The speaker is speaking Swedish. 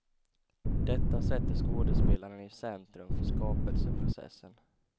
Detta sätter skådespelaren i centrum för skapelseprocessen.